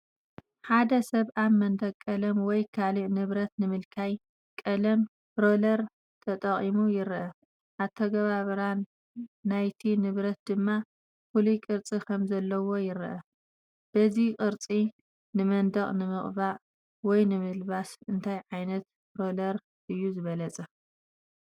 ሓደ ሰብ ኣብ መንደቕ ቀለም ወይ ካልእ ንብረት ንምልካይ ቀለም ሮለር ተጠቒሙ ይርአ። ኣተገባብራ ናይቲ ንብረት ድማ ፍሉይ ቅርጺ ከም ዘለዎ ይረአ። በዚ ቅርጺ ንመንደቕ ንምቕባእ ወይ ንምልባስ እንታይ ዓይነት ሮለር እዩ ዝበለጸ?